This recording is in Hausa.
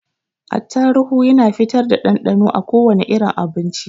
Attaruhu Yana fitar da ɗanɗanon a kowane irin abinci.